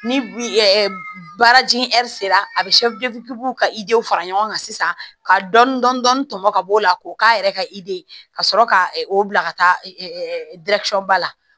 Ni baaraji sera a bɛ ka w fara ɲɔgɔn kan sisan ka dɔɔni dɔɔni tɔmɔ ka bɔ o la k'o k'a yɛrɛ ka ka sɔrɔ ka o bila ka taa ba la